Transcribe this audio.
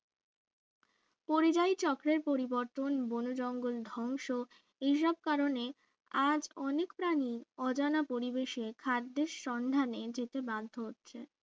পরিযায়ী চক্রের পরিবর্তন বোন জঙ্গল ধ্বংস এসব কারণে আজ অনেক প্রাণী অজানা পরিবেশে খাদ্যের সন্ধানে যেতে বাধ্য হচ্ছে